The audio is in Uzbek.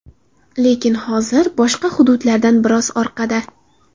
Lekin hozir boshqa hududlardan biroz orqada.